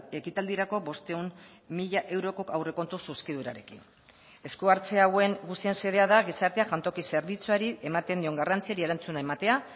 ekitaldirako bostehun mila euroko aurrekontu zuzkidurarekin esku hartze hauen guztien xedea da gizartea jantoki zerbitzuari ematen dion garrantziari erantzuna ematea